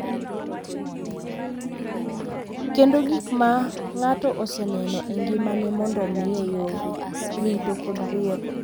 Kendo gik ma ng’ato oseneno e ngimane mondo omiye yore, rito, kod rieko.